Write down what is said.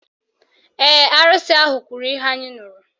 Ee, arụsị ahụ kwuru ihe anyị nụrụ